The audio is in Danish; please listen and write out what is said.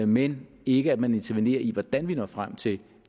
men ikke at man intervenerer i hvordan vi når frem til